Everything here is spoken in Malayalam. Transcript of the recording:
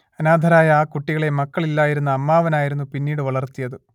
അനാഥരായ ആ കുട്ടികളെ മക്കളില്ലായിരുന്ന അമ്മാവനായിരുന്നു പിന്നീട് വളർത്തിയത്